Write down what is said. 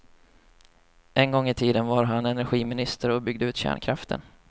En gång i tiden var han energiminister och byggde ut kärnkraften.